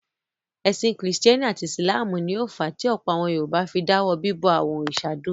Ẹ̀sìn Kìrìtẹ́ẹ́nì àti Ìsìlámù ni ó fà á tí ọ̀pọ̀ àwọn Yorùbá fi dáwọ́ bíbọ àwọn òrìṣà dúró.